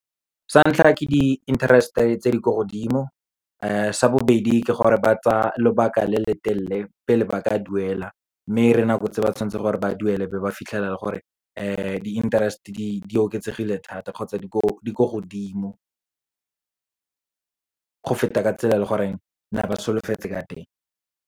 Sa ntlha, ke di-interest-e tse di ko godimo. Sa bobedi, ke gore ba tsa lobaka le letelele, pele ba ka duela. Mme re nako tse ba tshwanetseng gore ba duele, be ba fitlhileng fela le gore di-interest-e di oketsegile thata, kgotsa di ko godimo, go feta ka tsela e leng gore ne ba solofetse ka teng.